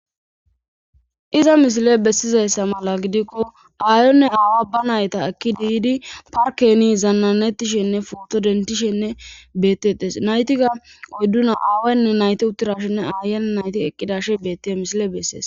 iza misile bessizayssa mala gidikko aayonne aawa ba nayta ekki diidi parkeni zannanetishenne foto dentishenne beettetes naytiga oydduna aawaynne nayte uttirashenne aayana nayti eqqidashe betti misile bessees